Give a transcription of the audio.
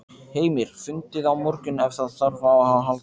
Heimir: Fundið á morgun ef þarf á að halda?